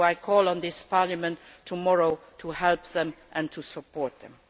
I call on this Parliament tomorrow to help them and to support them.